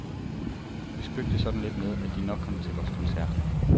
Vi spøgte sådan lidt med, at de nok kom til vores koncert.